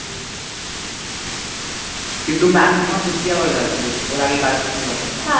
কিন্তু Maximum Fifty hours আছে ওর আগে কাজ করতে পারবো না হ্য়াঁ